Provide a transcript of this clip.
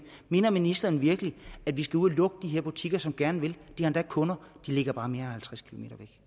mener ministeren virkelig at vi skal ud at lukke de her butikker som gerne vil har kunder de ligger bare mere end